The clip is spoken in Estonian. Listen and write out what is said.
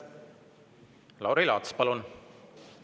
Lauri Laats, palun!